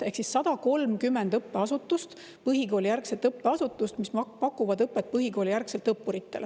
Ehk siis 130 õppeasutust, põhikoolijärgset õppeasutust, mis pakuvad õppuritele põhikoolijärgselt õpet.